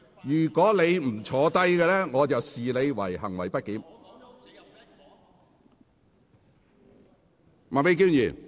如果你再不坐下，我會視之為行為不檢。